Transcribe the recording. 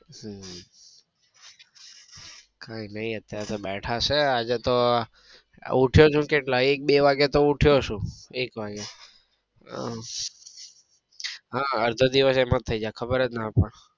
હમ કઈ નઈ અત્યારે બેઠા છે આજે તો હું ઉઠ્યો જ કેટલા એક બે વાગે તો ઉઠ્યો છું. એક વાગે આહ હા અડધો દિવસ તો એમ જ થઇ જાય.